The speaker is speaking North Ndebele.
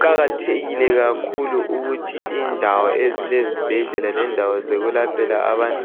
Kuqakathekile kakhulu ukuthi indawo ezilezibhedlela lendawo zokwelaphela abantu